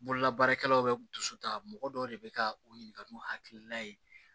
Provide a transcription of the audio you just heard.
Bolola baarakɛlaw bɛ dusu ta mɔgɔ dɔw de bɛ ka u ɲininka n'u hakilina ye